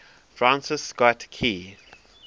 francis scott key